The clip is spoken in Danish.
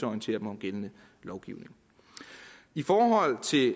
orientere dem om gældende lovgivning i forhold til